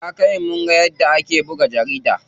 Ya kai mu munga yadda ake buga jarida.